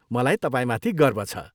मलाई तपाईँमाथि गर्व छ।